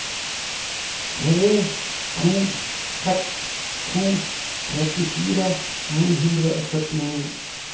tre to seks to trettifire ni hundre og førtini